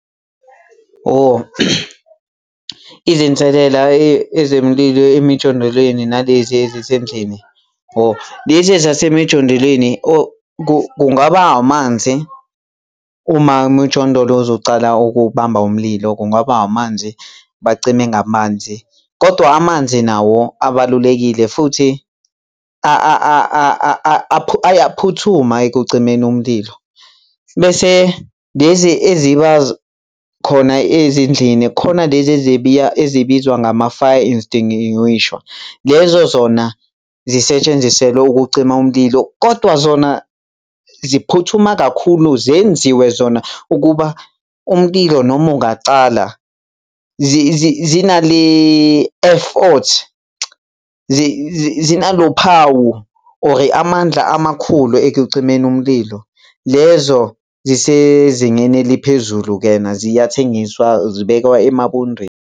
Oh, izinselela ezemlilo emjondolweni nalezi ezisendlini. Oh, lezi ezasemijondolweni kungaba amanzi uma umujondolo uzocala ukubamba umlilo kungaba amanzi bacime ngamanzi, kodwa amanzi nawo abalulekile futhi ayaphuthuma ekucimeni umlilo. Bese lezi eziba khona ezindlini khona lezi ezibiya, ezibizwa ngama-fire extinguisher. Lezo zona zisetshenziselwa ukucima umlilo, kodwa zona ziphuthuma kakhulu, zenziwe zona ukuba umlilo noma ungacala zina le effort zinalophawu or amandla amakhulu ekucimeni umlilo. Lezo zisezingeni eliphezulu kena ziyathengiswa, zibekwa emabondweni.